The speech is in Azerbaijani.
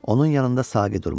Onun yanında Saqi durmuşdu.